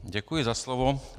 Děkuji za slovo.